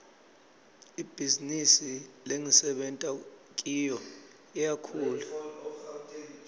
ibhizinisi lengisebenta kiyo iyakhula